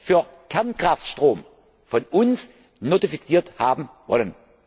für Kernkraftstrom von uns notifiziert haben wollen.